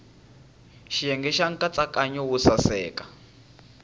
xiyenge xa nkatsakanyo wo saseka